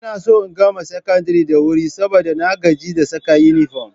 Ina so in gama secondary da wuri saboda na gaji da saka inifo